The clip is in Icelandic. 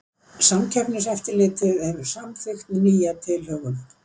Samkeppniseftirlitið hefur samþykkt nýja tilhögun